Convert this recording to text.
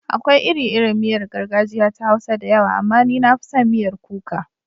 Akwai iri-irin miyar gargajiya ta Hausa da yawa, amma ni na fi son miyar kuka.